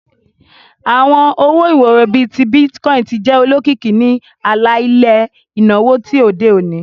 Awọn owo-iworo, bii Bitcoin, ti di olokiki ni ala-ilẹ inawo ti ode oni.